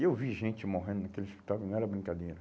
E eu vi gente morrendo naquele hospital, não era brincadeira.